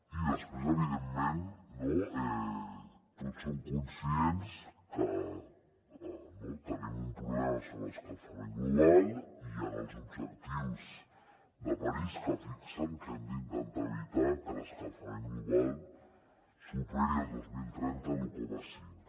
i després evidentment tots som conscients que tenim un problema sobre l’escalfament global i hi han els objectius de parís que fixen que hem d’intentar evitar que l’escalfament global superi el dos mil trenta l’un coma cinc